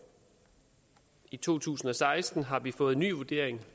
i to tusind og seksten har vi fået en ny vurdering